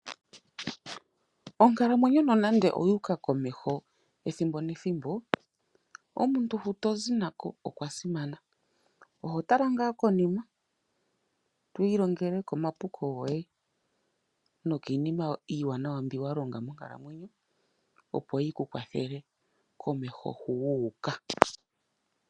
Onkalamwenyo nonande oyuuka komeho ethimbo nethimbo. Omuntu hu tozi nako okwa simana, oho tala ngaa konima, to ilongele komapuko goye, nokiinima iiwanawa mbyoka wa longa monkalamwenyo, opo yi ku kwathele komeho hu wu uka.